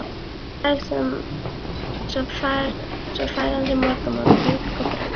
Svo fær hann sér morgunmat, mjólk og brauð.